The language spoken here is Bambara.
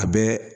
A bɛɛ